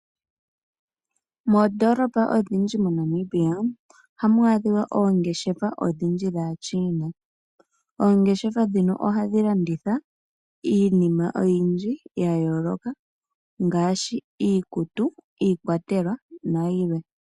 Mondoolopa odhindji moNamibia oha mu adhiwa oongeshefa odhindji dhashiina oongeshefa dhino ohadhi landitha iinima oyindji yayooloka ngaashi iikuku iikwatelwa nayilwe.